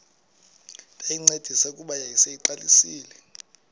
ndayincedisa kuba yayiseyiqalisile